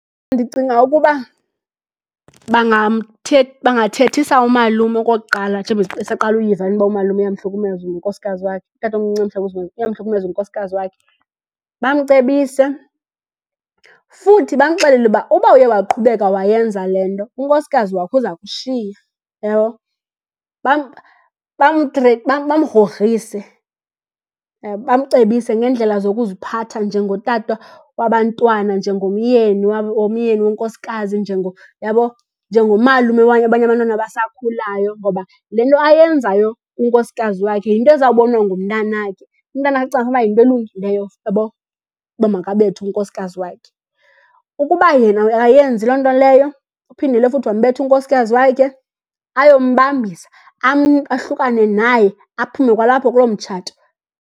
Ndicinga ukuba bangathethisa umalume okokuqala, njengoba esaqala uyiva le nto uba umalume uyamhlukumeza unkosikazi wakhe, utatomncinci uyamhlukumeza unkosikazi wakhe. Bamcebise futhi bamxelele uba, uba uye waqhubeka wayenza le nto unkosikazi wakho uza kushiya, uyabo. Bamgrogrise , bamcebise ngeendlela zokuziphatha njengotata wabantwana, njengomyeni womyeni wonkosikazi , uyabo, njengomalume wabanye abantwana abasakhulayo. Ngoba le nto ayenzayo kunkosikazi wakhe yinto ezawubonwa ngumntanakhe, umntanakhe acinge fanuba yinto elungileyo , uyabo, uba makabethe unkosikazi wakhe. Ukuba yena akayenzi loo nto leyo, uphindile futhi wambetha unkosikazi wakhe, ayombambisa, ahlukane naye, aphume kwalapho kuloo mtshato.